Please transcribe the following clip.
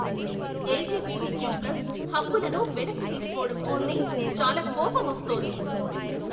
LGBTQ plus హక్కులను వెనక్కి తీసుకోవడం చూస్తే చాలా కోపమొస్తోంది.